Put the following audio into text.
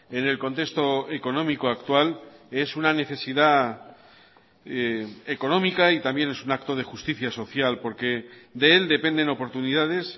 en el contexto económico actual es una necesidad económica y también es un acto de justicia social porque de él dependen oportunidades